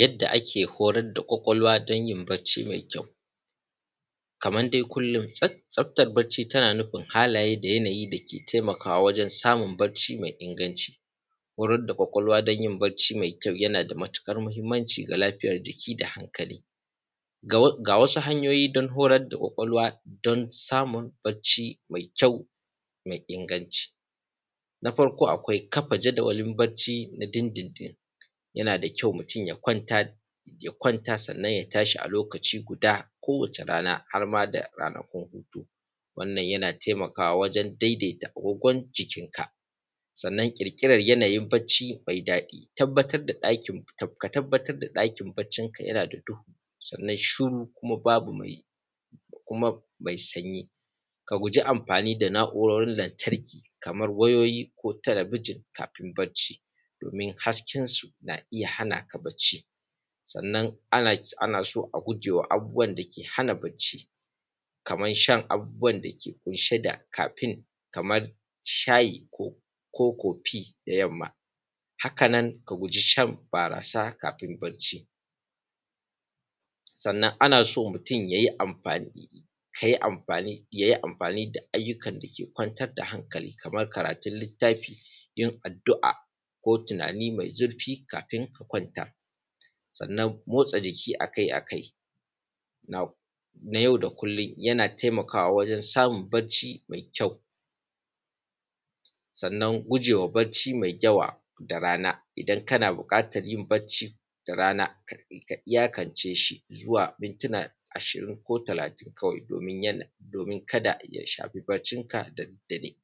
Yadda ake horae da kwakwalwa danyin bacci mai kyau. Kaman dai kullum tsaftar bacci tana nufin halaye da yanayi dake taimakawa wajen samun mai inganci. Horar da kwakwalwa danyin bacci mai kyau yanada matuƙar mahimmanci ga lifiyar jiki da hankali. Ga wasu hanyoyi horar da kwakwalwa dan samun bacci mai kyau mai inganci. Na farko akwai kafa jadawalin bacci na dindindin, yanada kyau mutun ya kwanra sannan ya tashi a lokaci guda ko wata rana harma da ranaku na taimakawa wajen dai dai ta agogon jikin ka dan ƙirƙiran lokacin bacci mai daɗi. Ka tabbatar da ɗakin baccin ka yanada duhu, shiru kuma babu mai kuma mai sanyi kaguji amfani da na’urorin lantarki Kamar wayoyi ko talabijin kamaim bacci, domin hasken sun a iyya hanaka bacci. Sannan ana so a gujewa abubuwan dake hana bacci Kaman shan abubuwab dake kunshe da kafen Kaman shayi ko kofi da yamma hakanan ka gujishan barasa da yamma akafin bacci. Sannana nason mutun yayi mafani daayyukan dake kwantar da hankali Kaman karatun littafi, yin addu’a lko tunani mai zurfi kafin ka kwanta. Sannan motsa jiki akai akai na yau da kullum yana taimakawa wajen samun bacci mai kyau. sannan gujewa bacci mai yawa da rana idan kana buƙatan yin bacci da rana ayyakanceshi zuwa mintuna a shirin ko talatin kawai doin kada ya shafi baccin ka da daddare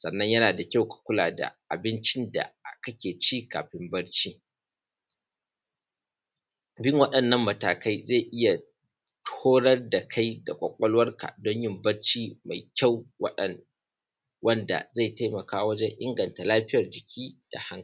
sannan yana da kyau mukuda abinbin du. Bin waɗannan matakai zai iyya horae dala maikai da yan uwan mai kyau wanda zai zai taimaka wajen injanta lafiyan jiki da kuma hankali